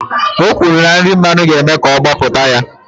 O kwuru na nri mmanu ga-eme ka ọ gbọpụta ya